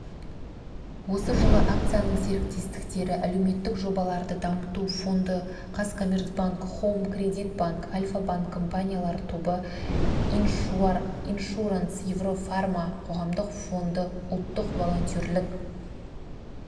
осы жылы акцияның серіктестері әлеуметтік жобаларды дамыту фонды казкоммерцбанк хоум кредит банк альфа-банк компаниялар тобы иншуранс еврофарма қоғамдық фонды ұлттық волонтерлік